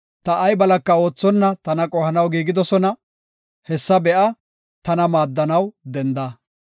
Ta ay balaka oothonna tana qohanaw giigidosona; hessa be7a; tana maaddanaw denda.